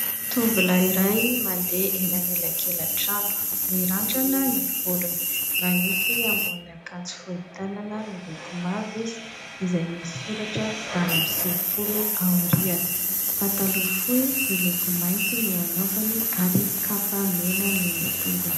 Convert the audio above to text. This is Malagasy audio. Tovolahy iray mandeha eny amin'ny elakelan-trano, mirandrana ny volony, manisy ambonin' akanjo fohy tanana miloko mavo izy izay misy soratra valo amby sivifolo aoriana, pataloha fohy miloko mainty no anaovany ary kapa mena no eny an-tongony.